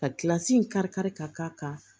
Ka kilasi in karikari ka k'a kan